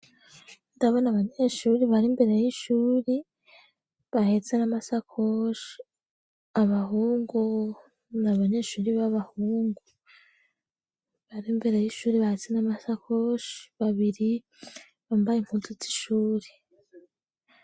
Ndabona abanyeshuri bari mbere y'ishuri bahetse n'amasakoshi abahungu n'abanyeshuri b'abahungu bari mbere y'ishuri bahetse n'amasakoshi babiri bambaye impututsi ishuri.